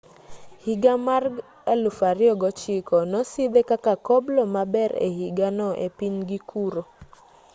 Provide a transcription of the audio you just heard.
higa mar 2009 nosidhe kaka koblo maber e higano e pinygi kuro